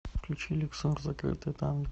включи люксор закрытое танго